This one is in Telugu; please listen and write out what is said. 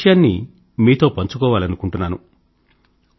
ఒక విషయాన్ని మీతో పంచుకోవాలనుకుంటున్నాను